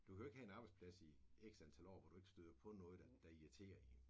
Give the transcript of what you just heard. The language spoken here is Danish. Du kan jo ikke have en arbejdsplads i X antal år hvor du ikke støder på noget der der irriterer en